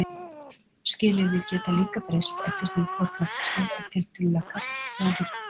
Skilyrði geta líka breyst eftir því hvort loftslag er tiltölulega kalt eða hlýtt.